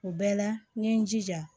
O bɛɛ la n ye n jija